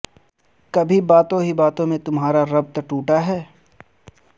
کبھی باتوں ہی باتوں میں تمہارا ربط ٹوٹا ہے